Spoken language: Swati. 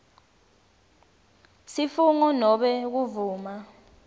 sifungo nobe kuvuma